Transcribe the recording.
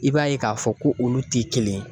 I b'a ye k'a fɔ ko olu tɛ kelen ye.